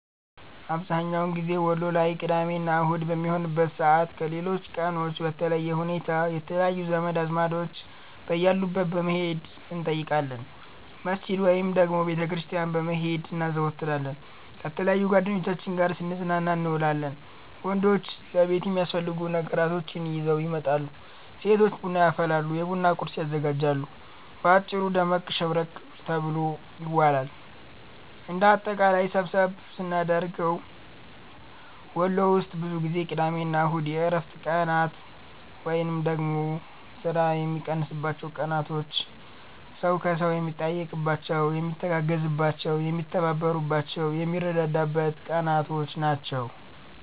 አብዝሀኛውን ጊዜ ወሎ ላይ ቅዳሜ እና አሁድ በሚሆንበት ሰዓት ከሌሎች ቀኖች በለየ ሁኔታ የተለያዩ ዘመድ አዝማዶች በያሉበት በመሄድ እንጠይቃለን፣ መስጅድ ወይንም ደግሞ ቤተ ክርስቲያን በመሄድ እናዘወትራለን፣ ከተለያዩ ጓደኞቻችን ጋር ስንዝናና እንውላለን። ወንዶች ለቤት የሚያስፈልጉ ነገራቶችን ይዘው ይመጣሉ፤ ሴቶች ቡና ያፈላሉ፤ የቡና ቁርስ ያዘጋጃሉ። በአጭሩ ደመቅ ሸብረቅ ተብሎ ይዋላል። እንደ አጠቃላይ ሰብሰብ ስናደርገው ወሎ ውስጥ ብዙ ጊዜ ቅዳሜ እና እሁድ የእረፍት ቀናት ወይንም ደግሞ ስራ የሚቀንስባቸው ቀናቶች፣ ሰው ከሰው የሚጠያየቅባቸው፣ የሚተጋገዝባቸው፣ የሚተባበርባቸው፣ የሚረዳዳበት ቀናቶች ናቸው።